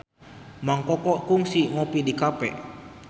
Mang Koko kungsi ngopi di cafe